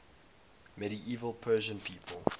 medieval persian people